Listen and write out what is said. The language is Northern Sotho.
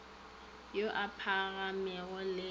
a a phagamego le ao